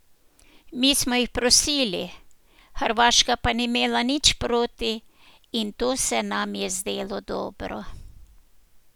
Mi smo jih prosili, Hrvaška pa ni imela nič proti in to se nam je zdelo dobro.